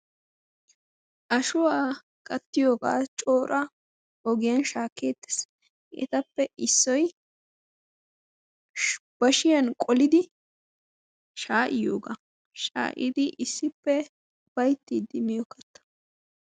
Ashuwa kattiyogaa cora ogiyan shaakkeettees. Etappe issoy bashiyan qolidi sha"iyoga sha"idi issippe ufayttidi miyo katta.